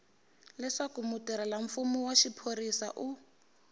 leswaku mutirhelamfumo wa xiphorisa u